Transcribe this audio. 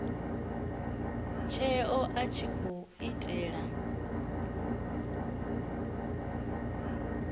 tsheo a tshi khou itela